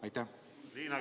Kuidas?